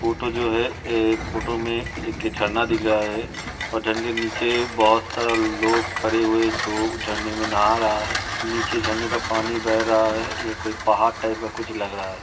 Photo जो है ए फ़ोटो मे एक झरना दिख रहा है और झरने के नीचे बहोत सारा लोग खड़े हुए जो झरने में नहा रहा हैं नीचे झरने का पानी बह रहा है। ये कोई पहाड़ टाइप का कुछ लग रहा है।